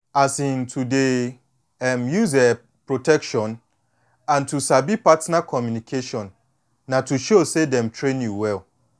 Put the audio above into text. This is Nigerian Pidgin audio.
um to dey um use um protection and to sabi partner communication na to show say dem train you well